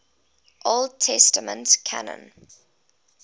old testament canon